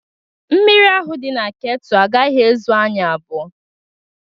Mmiri ahụ dị na ketụ agaghị ezu anyị abụọ